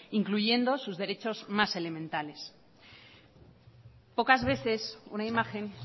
incluyendo sus derechos más elementales pocas veces una imagen